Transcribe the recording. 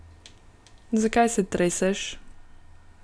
Zakaj se treseš?